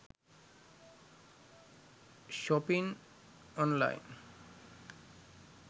shopping online